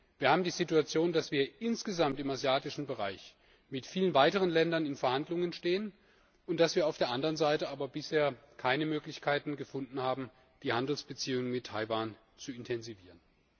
Wir haben die Situation, dass wir insgesamt im asiatischen Bereich mit vielen weiteren Ländern in Verhandlungen stehen und dass wir auf der anderen Seite bisher aber keine Möglichkeiten gefunden haben, die Handelsbeziehungen mit Taiwan zu intensivieren.